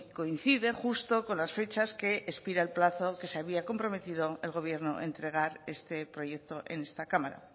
coincide justo con las fechas que expira el plazo que se había comprometido el gobierno entregar este proyecto en esta cámara